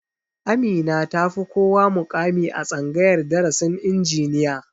Amina ta fi kowa muƙami a tsangayar darasin injiniya